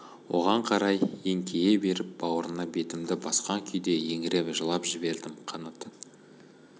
оған қарай еңкейе беріп баурына бетімді басқан күйде еңіреп жылап жібердім қанат